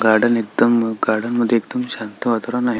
Garden एकदम garden मध्ये एकदम शांत वातावरण आहे.